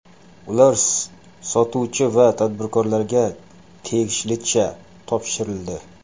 Ular sotuvchi va tadbirkorlarga tegishlicha topshirildi.